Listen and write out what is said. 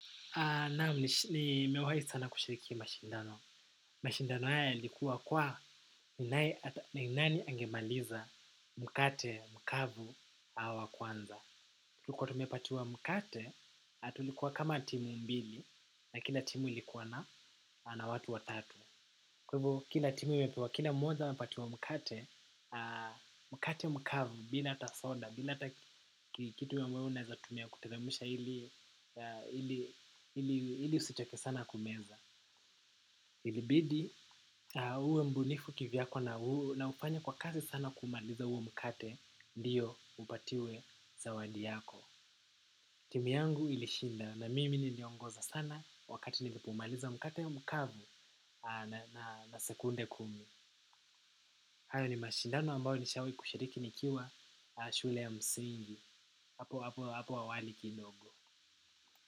Naam, nimewai sana kushiriki mashindano. Mashindano haya yalikuwa kwa ni nani angemaliza mkate, mkavu, wa kwanza. Kuwa tumepatiwa mkate, tulikuwa kama timu mbili na kila timu ilikuwa na watu watatu. Kwa hivo, kina timu imepewa, kila mmoja amepatiwa mkate, mkate mkavu, bila hata soda, bila hata kitu ambayo unaeza tumia kuteremusha ili usichoke sana kumeza. Ilibidi, uwe mbunifu kivyako na ufanya kwa kazi sana kumaliza huwo mkate, ndiyo upatiwe zawadi yako. Timu yangu ilishinda na mimi niliongoza sana wakati nilipumaliza mkate mkavu na sekunde kumi. Hayo ni mashindano ambayo nishawai kushiriki nikiwa shule ya msingi. Apo, hapo, hapo awali kidogo.